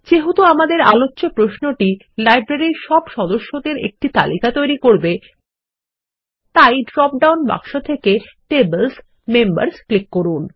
যেহেতু আমাদের আলোচ্চ প্রশ্নটি লাইব্রেরীর সব সদস্যদের একটি তালিকা তৈরী করবে তাই ড্রপ ডাউন বাক্স থেকে Tables মেম্বার্স ক্লিক করুন